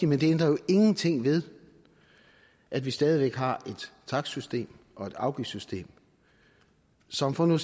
men det ændrer jo ingenting ved at vi stadig væk har et takstsystem og et afgiftssystem som for nu